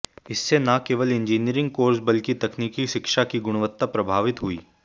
इससे न केवल इंजीनियरिंग कोर्स बल्कि तकनीकी शिक्षा की गुणवत्ता प्रभावित हुई